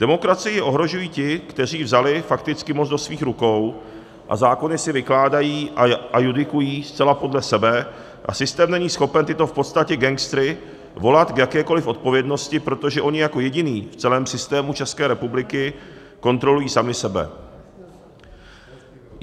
Demokracii ohrožují ti, kteří vzali fakticky moc do svých rukou a zákony si vykládají a judikují zcela podle sebe, a systém není schopen tyto v podstatě gangstery volat k jakékoliv odpovědnosti, protože oni jako jediní v celém systému České republiky kontrolují sami sebe.